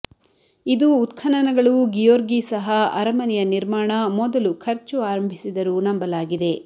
ಇದು ಉತ್ಖನನಗಳು ಗಿಯೊರ್ಗಿ ಸಹ ಅರಮನೆಯ ನಿರ್ಮಾಣ ಮೊದಲು ಖರ್ಚು ಆರಂಭಿಸಿದರು ನಂಬಲಾಗಿದೆ